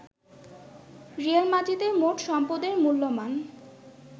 Real মাদ্রিদের মোট সম্পদের মূল্যমান